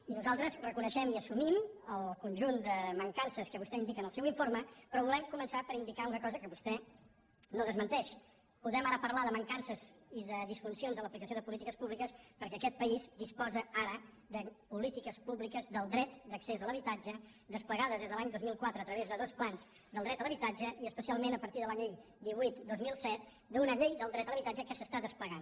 i nosaltres reconeixem i assumim el conjunt de mancances que vostè indica en el seu informe però volem començar per indicar una cosa que vostè no desmenteix podem ara parlar de mancances i de disfuncions de l’aplicació de polítiques públiques perquè aquest país disposa ara de polítiques públiques del dret d’accés a l’habitatge desplegades des de l’any dos mil quatre a través de dos plans del dret a l’habitatge i especialment a partir de la llei divuit dos mil set d’una llei del dret a l’habitatge que s’està desplegant